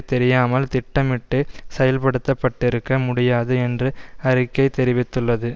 தெரியாமல் திட்டமிட்டு செயல்படுத்தப்பட்டிருக்க முடியாது என்று அறிக்கை தெரிவித்துள்ளது